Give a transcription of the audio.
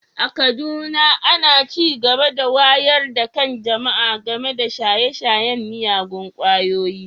A Kaduna ana ci gaba da wayar da kan jama’a game da shaye-shayen miyagun ƙwayoyi